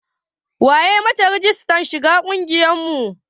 Wa ya yi ma ta rijistar shiga ƙungiyar mu?